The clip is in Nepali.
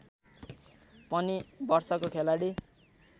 पनि वर्षको खेलाडी